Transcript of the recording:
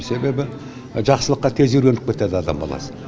себебі жақсылыққа тез үйреніп кетеді адам баласы